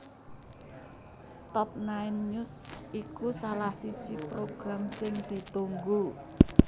Top Nine News iku salah siji program sing ditunggu